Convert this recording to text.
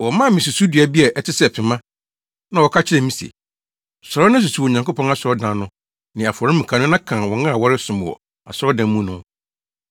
Wɔmaa me susudua bi a ɛte sɛ pema, na wɔka kyerɛɛ me se, “Sɔre na susuw Onyankopɔn asɔredan no ne afɔremuka no na kan wɔn a wɔresom wɔ asɔredan no mu no.